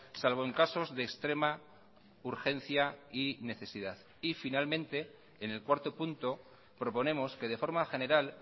salvo en casos de extrema urgencia y necesidad y finalmente en el cuarto punto proponemos que de forma general